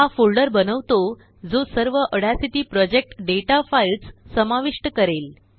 हा फोल्डर बनवतो जो सर्वऑड्यासिटी प्रोजेक्टडेटा फाईल्ससमाविष्ट करेल